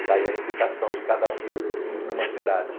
Está aí a explicação de cada filho numa cidade.